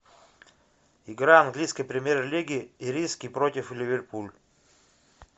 игра английской премьер лиги ириски против ливерпуль